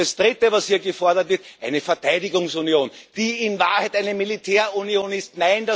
Das Dritte, was hier gefordert wird eine Verteidigungsunion, die in Wahrheit eine Militärunion ist.